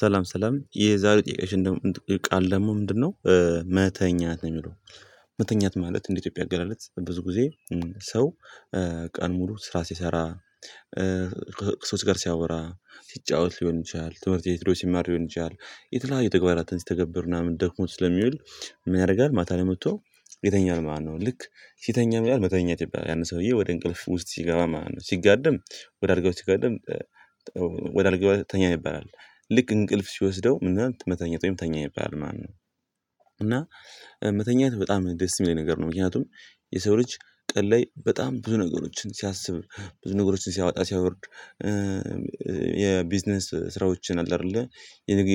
ሰላም ሰላም የዛሬ ጥያቄችን ቃል ደግሞ ምንድነው? መተኛት ነው የሚለው መተኛት ማለት እንደ ኢትዮጵያ አገላለጽ ብዙ ጊዜ ሰው ቀን ሙሉ ስራ ሲሰራ። ከሰው ጋር ሲያወራ ሲጫወት ሊሆን ይችላል ትምህርት የትሮ ሲማር ሊሆን ይችላል። የተለያዩ ተግባራትን ሲተገብር ምናምን ደክሞት ስለሚውል ምን ያደርጋል ማታ ላይ መጥቶ ይተኛል ማለት ነው። ልክ ሲተኛም ምን ይባላል መተኛት ይባላል። ያን ሰውዬ ወደ እንቅልፍ ውስጥ ሲገባ ማለት ነው። ሲጋደም ወደ አልጋው ሲጋደም። ወደ ተኛ ይባላል ልክ እንቅልፍ ሲወስደው መተኛት ወይም ተኛ ይባላል ማን ነው? እና መተኛት በጣም ደስ የሚለኝ ነገር ነው። ምክንያቱም የሰው ልጅ ቀን ላይ በጣም ብዙ ነገሮችን ሲያስብ ብዙ ነገሮችን ሲያወጣ ሲያወርድ የቢዝነስ ስራዎችን አለ አይደለ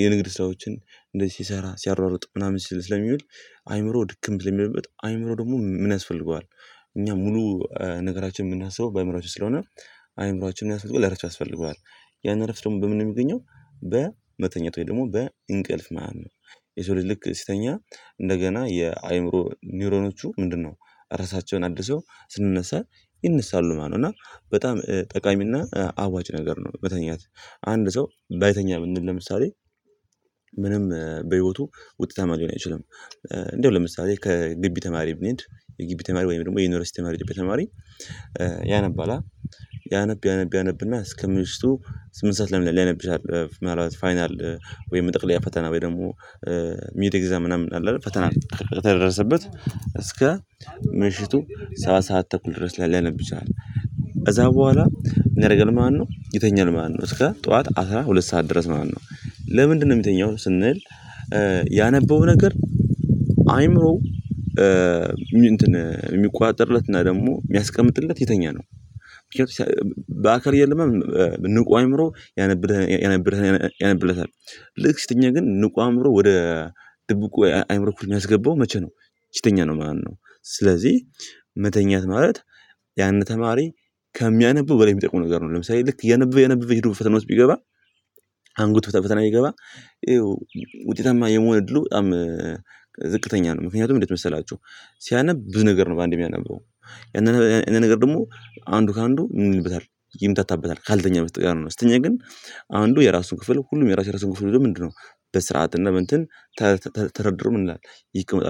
የንግድ ስራዎችን እንደዚህ ሲሰራ ሲያሯሩጥ ምናምን ሲል ስለሚውል። አእምሮ ድክም ብለህ የሚልበት አእምሮ ደግሞ ምን ያስፈልገዋል? እኛ ሙሉ ነገራችን የምናስበው በአእምሮአችን ስለሆነ አእምሮአችንን በራሱ እረፍት ያስፈልገዎል። ያን እረፍት ደግሞ በምን ነው የሚገኘው? በመተኛት ወይ ደግሞ በእንቅልፍ ማን ነው? የሰው ልጅልክ ሲተኛ እንደገና የአእምሮ ኒውሮኖቹ ምንድነው? ራሳቸውን አድሶ ስንነሳ ይነሳሉ ማነው እና በጣም ጠቃሚ እና አዋጭ ነገር ነው። በተኛት አንድ ሰው ባይተኛ ብንል ለምሳሌ ምንም በህይወቱ ውጤት ማግኘት አይችልም። እንደው ለምሳሌ ከግቢ ተማሪ ብንሄድ የግቢ ተማሪ ወይም ደግሞ የዩኒቨርሲቲ ተማሪ ተማሪ ያነባላ ያነብ ያነብ ያነብና እስከምንሽቱ ስምንት ሰዓት ለምን ላይ ላይነብ ይችላል ፋይናል ወይም መጠቅለያ ፈተና በደንብ ደግሞ ኤግዛም ምናምን አለ ፈተና ከተደረሰበት እስከ ምሽቱ ሰባት ሰዓት ተኩል ድረስ ላይ ሊያነብ ይችላል። ከዛ በኋላ ምን ያደርጋል ማለትነው? ይተኛል ማነው እስከ ጠዋት አስራ ሁለት ሰዓት ድረስ ማለትነው። ለምንድነው የሚተኛው ስንል? ያነበበው ነገር አይምሮ የሚቆጣጠርለትና ደግሞ የሚያስቀምጥለት የተኛ ምክንያቱም። በአካል እያለማ ንቁ አይምሮ ያነብርህ ያነብርህ ያነብለታል። ልክ ሲትኛ ግን ንቁ አእምሮ ወደ ድብቁ አእምሮ ክፍል የሚያስገባው መቼ ነው? ሲተኛ ነው ማነው? ስለዚህ መተኛት ማለት ያንን ተማሪ ከሚያነብው በላይ የሚጠቅመው ነገር ነው። ለምሳሌ ልክ እያነበበ እያነበበ ሄዶ ፈተና ውስጥ ቢገባ አንጎት ፈተናላይ ቢገባ ይኸው ውጤታማ የመሆን እድሉ በጣም ዝቅተኛ ነው። ምክንያቱም እንዴት መሰላችሁ? ሲያነብ ብዙ ነገር ነው በአንዴ የሚያነብበው ያንን ነገር ደግሞ አንዱ ከአንዱ ምን ይልበታል ይምታታበታል ካልተኛ በስተቀር ካልሆነ ሲትኛ ግን። አንዱ የራሱ ክፍል ሁሉም የራሱ የራሱ ክፍል ምንድነው? በስርዓት እና በእንትን ተደርድሮ ምን ይላል? ይህ ህክምና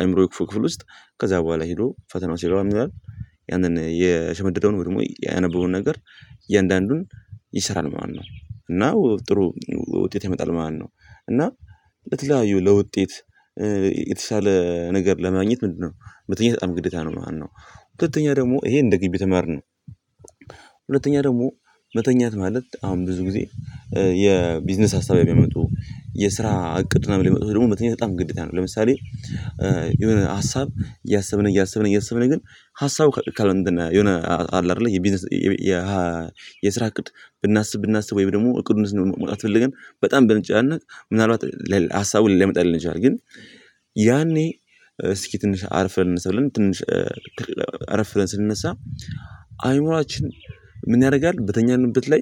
አይምሮዬ ክፉ ክፍል ውስጥ። ከዛ በኋላ ሄዶ ፈተናው ሲገባ ምን ይላል? ያንን የሸመደደውን ወይ ደግሞ ያነበበውን ነገር እያንዳንዱን ይሰራል ማነው እና ጥሩ ውጤት ያመጣል ማለት ነው። እና ለተለያዩ ለውጤት የተሻለ ነገር ለማግኘት ምንድነው? መተኛት በጣም ግዴታ ነው ማለትነው። ሁለተኛ ደግሞ ይሄ እንደ ግቢ ተማሪ ነው። ሁለተኛ ደግሞ መተኛት ማለት አሁን ብዙ ጊዜ የቢዝነስ አሳብ የሚያመጡ የስራ እቅድ ምናምን የሚመጡ ደግሞ መተኛት በጣም ግዴታ ነው። ለምሳሌ የሆነ ሀሳብ እያሰብን እያሰብን እያሰብን ግን ሀሳቡ ከሆነ አለ አይደለ የቢዝነስ የስራ እቅድ ብናስብ ብናስብ ወይም ደግሞ እቅዱን መውጣት ፈልገን በጣም ብንጨናነቅ ምናልባት ለሀሳቡ ሊመጣልን ይችላል ግን። ያኔ እስኪ ትንሽ አርፈን እንነሳለን ትንሽ አረፍ ብለን ስንነሳ አይምሮአችን። ምን ያደርጋል? በተኛንበት ላይ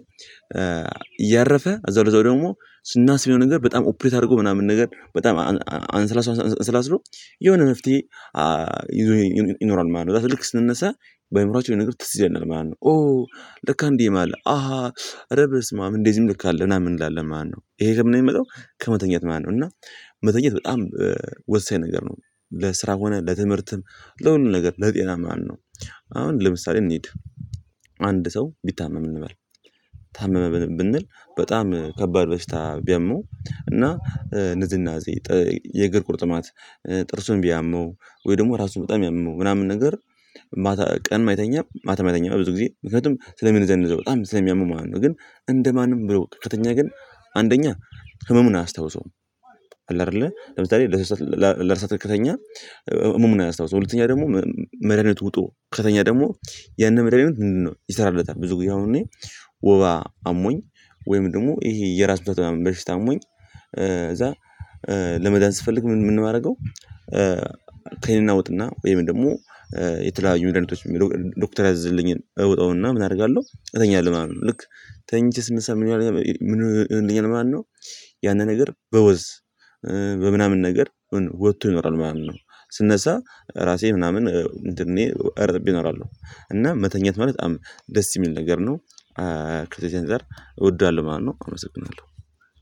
እያረፈ እዛው እዛው ደግሞ ስናስቢው ነገር በጣም ኦፕሬት አድርጎ ምናምን ነገር በጣም አንስላስሮ የሆነ መፍትሄ ይኖራል። ማለት ነው ከዛ ልክ ስንነሳ በአእምሮአችን የነገርኩት ትዝ ይላል ማለት ነው። ኦ ለካ አንዲህም አለ አሃ እረ ብስማም እንደዚህም ልክ አለ ምናምን እንላለን ማለትነው። ይሄ ከምን የሚመጣው? ከመተኛት ማነው እና መተኛት በጣም ወሳኝ ነገር ነው። ለስራ ሆነ ለትምህርትም ለሁሉም ነገር ለጤና ማን ነው? አሁን ለምሳሌ እንሂድ አንድ ሰው ቢታመም እንበል ታመመ ብንል በጣም ከባድ በሽታ ቢያመው እና ንዝናዜ የእግር ቁርጥማት ጥርሱን ቢያመው ወይ ደግሞ ራሱን በጣም ያመው ምናምን ነገር። ማታ ቀን አይተኛም ማታም አይተኛም ብዙ ጊዜ ምክንያቱም ስለሚዘነዘው በጣም ስለሚያመው ማለት ነው። ግን እንደማንም ብሎ ከተኛ ግን አንደኛ ህመሙን አላስታውሰውም። አለ አይደለ ለምሳሌ ለእርሳታ ከተኛ። እመሙን አያስታውሰውም ሁለተኛ ደግሞ። መድሃኒት ውጦ ከተኛ ደግሞ ያንን መድሃኒት ምንድነው ይሰራልለታል ብዙ ጊዜ አሁን እኔ ወባ አሞኝ ወይም ደግሞ ይሄ የራስምታት ምናምን በሽታ አሞኝ እዛ ለመዳን ስፈልግ ምን የማደርገው ክኒን እውጥና ወይም ደግሞ የተለያዩ መዳኒቶች ዶክተር ያዝዝልኝን እወጠውና ምን አደርጋለሁ እተኛለው ማለትነው። ልክ ተኝቼ ስነሳ ምን ይሆንልኛል ማለትነው። ያንን ነገር በወዝ በምናምን ነገር ወጥቶ ይኖራል ማለት ነው። ስነሳ ራሴ ምናምን እኔ እረጥብ እኖራለው። እና መተኛት ማለት በጣም ደስ የሚል ነገር ነው። ከዚ ከዚ አንፃር እወደዋለሁ ማለትነው አመሰግናለሁ።